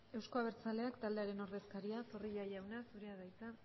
euzko abertzaleak taldearen ordezkaria zorrilla jauna zurea da hitza